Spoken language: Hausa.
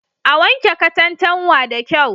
A wanke katantanwa da kyau.